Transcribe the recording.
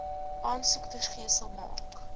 aansoek vergesel maak